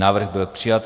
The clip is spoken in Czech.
Návrh byl přijat.